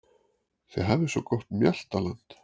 Þið hafið svo gott mjaltaland.